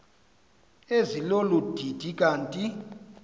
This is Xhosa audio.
ezilolu didi kanti